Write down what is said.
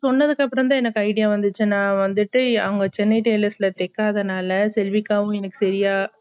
சொன்னதுக்கு அப்பறம்தா idea வந்துச்சு நா வந்துட்டு அங்க சென்னை tailors ல தைக்காதனால செல்விக்காவும் என்னக்கு சரியா